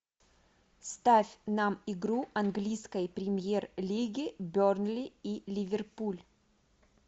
ставь нам игру английской премьер лиги бернли и ливерпуль